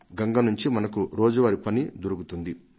గంగ నుంచి మనకు రోజువారీ పని దొరుకుతుంది